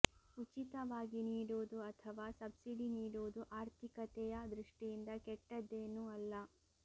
ಉಚಿತವಾಗಿ ನೀಡುವುದು ಅಥವಾ ಸಬ್ಸಿಡಿ ನೀಡುವುದು ಆರ್ಥಿಕತೆಯ ದೃಷ್ಟಿಯಿಂದ ಕೆಟ್ಟೆದ್ದೇನೂ ಅಲ್ಲ